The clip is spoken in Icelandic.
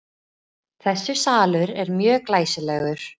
Þessi salur er mjög glæsilegur.